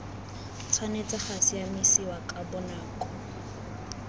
tshwanetse ga siamisiwa ka bonako